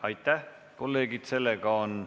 Aitäh, kolleegid!